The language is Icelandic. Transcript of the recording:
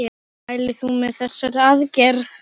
Mælir þú með þessari aðgerð?